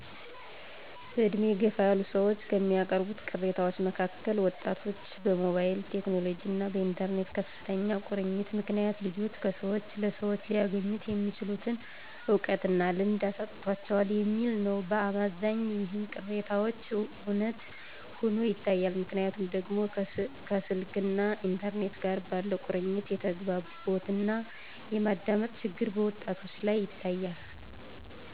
በድሜ የገፉ ሰዎች ከሚያቀርቡት ቅሬታዎች መካከል ወጣቶች በሞባይል ቴክኖሎጅና በኢተርኔት ከፍተኛ ቁርኝት ምክንያት ልጆች ከሰወች ለሰዎች ሊያገኙት የሚችሉትን እውቀትና ልምድ አሳጥቷቸዋል የሚል ነው። በአመዛኙ ይህ ቅሬታቸው እውነት ሆኖ ይታያል። ምክንያቱ ደግሞ ከስልክና ኢንተርኔት ጋር ባለ ቁርኝት የተግባቦትና የማዳመጥ ችግር በወጣቶች ላይ ይታያል።